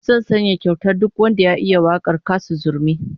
Zan sanya kyauta duk wanda ya iya wakar Kassu Zurmi